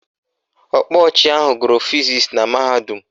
Ọkpa ọchị ahụ gụrụ fizisi na mahadum